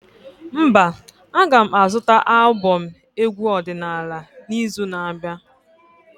Mba, a ga m azụta albọm egwu ọdịnala n'izu na-abịa